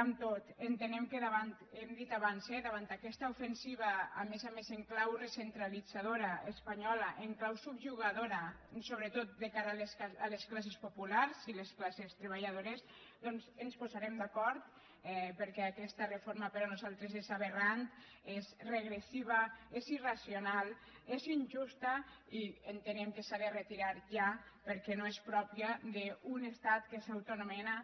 amb tot entenem que ho hem dit abans eh davant d’aquesta ofensiva a més a més en clau recentralitzadora espanyola en clau subjugadora sobretot de cara a les classes populars i les classes treballadores doncs ens posarem d’acord perquè aquesta reforma per nosaltres és aberrant és regressiva és irracional és injusta i entenem que s’ha de retirar ja perquè no és pròpia d’un estat que s’autoanomena